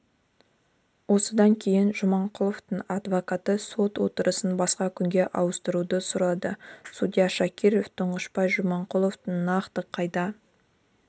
осыдан кейін жаманқұловтың адвокаты сот отырысын басқа күнге ауыстыруды сұрады судья шакиров тұңғышбай жаманқұловтың нақты қайда